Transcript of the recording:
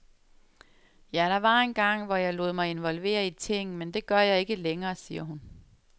Ja, der var engang, hvor jeg lod mig involvere i ting, men det gør jeg ikke længere, siger hun.